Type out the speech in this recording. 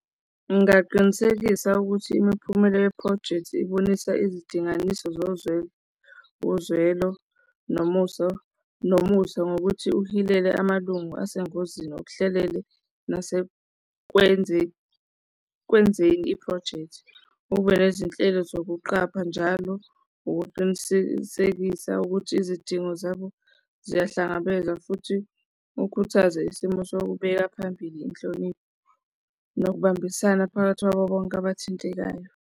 Ngingaqinisekisa ukuthi imiphumela yephrojekthi ibonisa izidinganiso zozwelo, uzwelo nomuso, nomusa ngokuthi uhilele amalungu asengozini okuhlelele nasekwenzeni iphrojekthi, kube nezinhlelo zokuqapha njalo ukuqinisekisa ukuthi izidingo zabo ziyahlangabeza futhi ukhuthaze isimo sokubeka phambili inhlonipho nokubambisana phakathi kwabo bonke abathintekayo.